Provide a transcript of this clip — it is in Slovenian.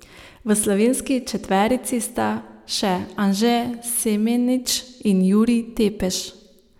V slovenski četverici sta še Anže Semenič in Jurij Tepeš.